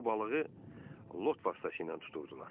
Bu balığı lot vasitəsilə tuturdular.